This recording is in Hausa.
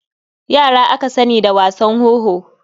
Yara aka sani da wasan wowo.